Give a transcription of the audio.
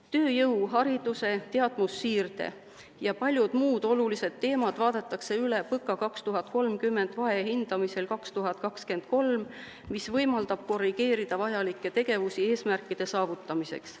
Tööjõud, haridus, teadmussiire ja paljud muud olulised teemad vaadatakse üle PõKa 2030 vahehindamisel 2023, mis võimaldab korrigeerida vajalikke tegevusi eesmärkide saavutamiseks.